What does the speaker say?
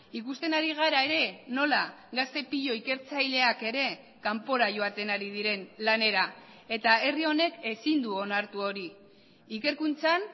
ikusten ari gara ere nola gazte pilo ikertzaileak ere kanpora joaten ari diren lanera eta herri honek ezin du onartu hori ikerkuntzan